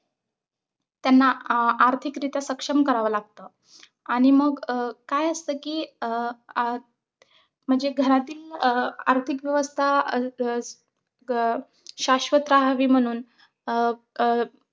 त्यांना आ आर्थिकरित्या सक्षम करावं लागतं आणि मग अं काय असत कि अ आ म्हणजे घरातील आह आर्थिकव्यवस्था अं ग शाशवता हवी म्हणून अं अं